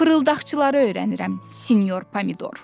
Fırıldaqçıları öyrənirəm sinyor Pomidor.